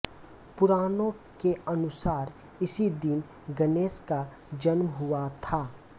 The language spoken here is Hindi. पुराणों के अनुसार इसी दिन गणेश का जन्म हुआ था